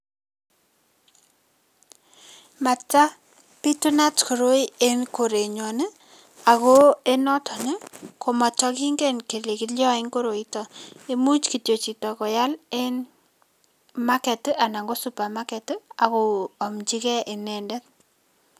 Matapitunat koroi en korenyon ii, ako en noton ii komatakingen kele kilyoin koroitok, imuch kityo chito koyal en market ii anan ko supermarket ii ako amchigei inendet.